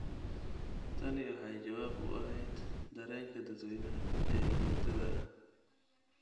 Tani waxay jawaab u ahayd dareenka dadweynaha ee joogtada ah.